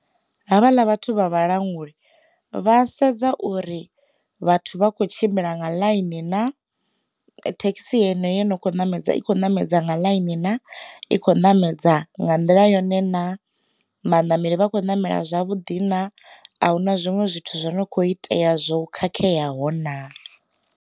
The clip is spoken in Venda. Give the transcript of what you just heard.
Ha vhaḽa vhathu vha vhalanguli, vha sedza uri vhathu vha kho tshimbila nga ḽaini na, thekhisi yeneyo yo no kho ṋamedza i kho ṋamedza nga ḽaini na, i kho ṋamedza nga nḓila yone na, vhanameli vha kho namela zwavhuḓi na, ahuna zwinwe zwithu zwo no kho itea zwo khakheaho na.